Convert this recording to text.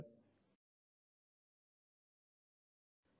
ஸ்லைடுகளுக்கு செல்வோம்